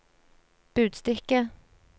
budstikke